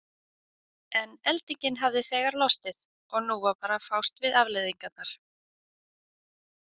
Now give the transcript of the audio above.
En eldingin hafði þegar lostið og nú var bara að fást við afleiðingarnar.